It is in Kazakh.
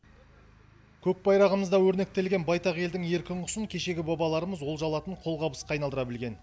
көк байрағымызда өрнектелген байтақ елдің еркін құсын кешегі бабаларымыз олжа алатын қолғабысқа айналдыра білген